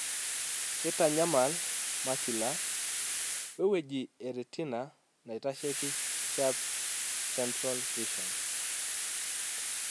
keitanyamal macula, we wueji e retina naitasheki sharp, central vision.